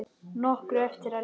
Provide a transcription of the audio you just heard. Nokkru eftir að Lena kom.